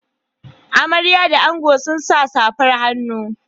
Amarya da angon sun sa safar hannu.